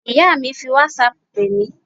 Ìyá mi fi whatsapp pè mí